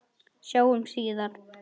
Sjáumst síðar.